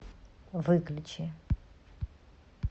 выключи